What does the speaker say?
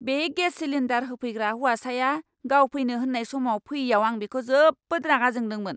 बे gas cylinder होफैग्रा हौवासाया गाव फैनो होन्नाय समाव फैयैआव आं बिखौ जोबोद रागा जोंदोंमोन।